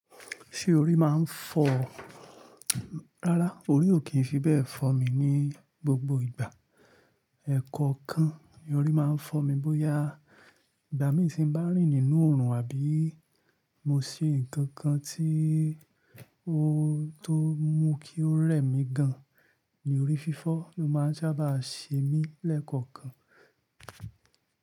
Ṣé orí máa ń fọ́? Rárá, orí ò kí ń fi bẹ́ẹ̀ fọ́ mi ní gbogbo ìgbà. Ẹ̀kọ-ọ̀kan, orí máa ń fọ́ mi bóyá ìgbà mí tí ń bá rìn nínú oòrùn àbí mo sí ǹkan kan tí ó tó mú kí ó rẹ̀ mí gan, ni orí fífọ́ ló máa ń sábà ṣe mí lẹ́kọ̀ọ̀kan.